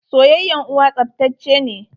Soyayyan uwa tsaftace ne.